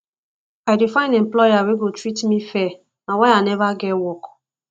i dey find employer wey go treat me fair na why i neva get work